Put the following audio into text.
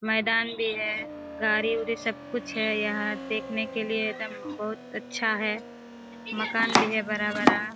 मैदान भी है गाड़ी उडी सब कुछ है यहाँ देखने के लिए एकदम बहुत अच्छा है मकान भी है बड़ा बड़ा --